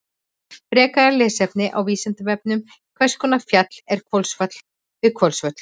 Frekara lesefni á Vísindavefnum: Hvers konar fjall er Hvolsfjall við Hvolsvöll?